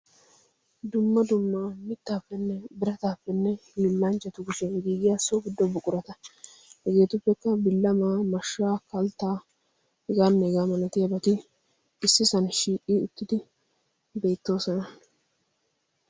dumma dummaa mittaappenne birataappenne hiillancchatu gushee giigiyaa sobi dobbu qurata hegeetuppekka billa maa mashshaa kalttaa hegaanneegaa malatiyabati issi san shiiqi uttidi beettoosona.